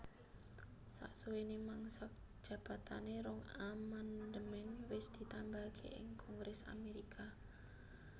Sasuwené mangsa jabatané rong amandemèn wes ditambahaké ing kongrès Amérika